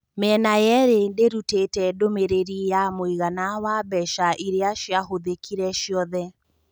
Mĩena yeeri ndĩrutĩte ndũmĩrĩri ya mũigana wa mbeca iria ciahũthĩkire ciothe.